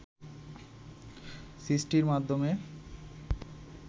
সৃষ্টির মাধ্যমে